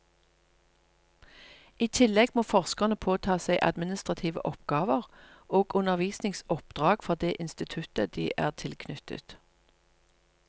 I tillegg må forskerne påta seg administrative oppgaver og undervisningsoppdrag for det instituttet de er tilknyttet.